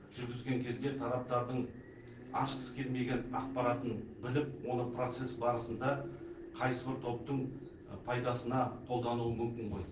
жүргізген кезде тараптардың ашқысы келмеген ақпаратын біліп оны процесс барысында қайсы бір топтың пайдасына қолдануы мүмкін ғой